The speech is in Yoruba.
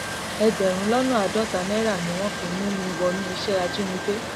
ẹgbẹrún lọnà àádọta náírà ni wọn fi mú mi wọnú iṣẹ ajínigbé